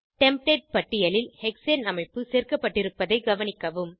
template பட்டியலில் hexane அமைப்பு சேர்க்கப்பட்டிருப்பதை கவனிக்கவும்